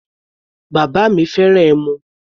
Bàbá mi fẹ́ràn ẹmu.